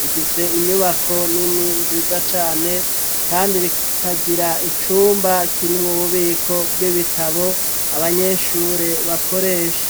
rifise inyubako nini nziza cane kandi rikagira icumba kirimwo ububiko bw'ibitabo abanyeshure bakoresha.